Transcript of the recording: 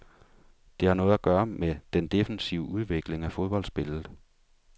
Det har noget at gøre med den defensive udvikling af fodboldspillet.